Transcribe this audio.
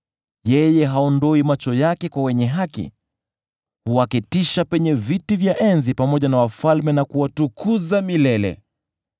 Yeye haondoi macho yake kwa wenye haki; huwaketisha penye viti vya enzi pamoja na wafalme na kuwatukuza milele.